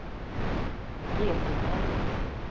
getingar